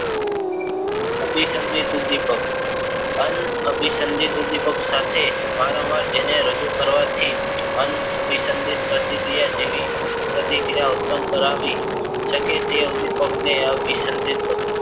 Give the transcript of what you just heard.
અભિસંદિત ઉદ્વિપક અનાભિસંદિત ઉદ્વિપક સાથે વારંવાર જેને રજુ કરવાથી અનાભિસંદિત પ્રતિક્રિયા જેવી પ્રતિક્રિયા ઉત્પન્ન કરાવી શકે તે ઉદ્વિપક ને અભિસંદિત